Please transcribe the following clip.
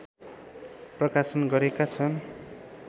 प्रकाशन गरेका छन्